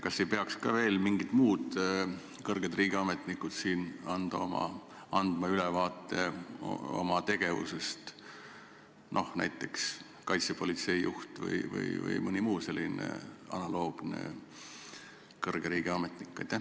Kas ei peaks ka mõned muud kõrged riigiametnikud, no näiteks kaitsepolitsei juht vms, andma siin oma tegevusest ülevaadet?